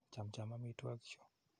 Chamnjam amitwogik chu.